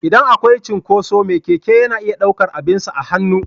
Idan akwai cinkoso me Keke yana iya ɗaukar abinsa a hannu.